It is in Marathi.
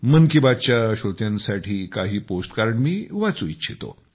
मन की बात च्या श्रोत्यांसाठी काही पोस्ट कार्ड मी सामायिक करू इच्छितो